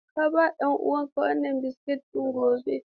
Ka ba ɗan uwanka wannan biskit ɗin gobe.